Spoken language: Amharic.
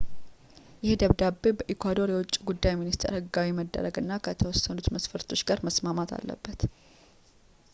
ይህ ደብዳቤ በኢኳዶር የውጪ ጉዳይ ሚኒስቴር ህጋዊ መደረግ እና ከተወሰኑ መስፈርቶች ጋር መስማማት አለበት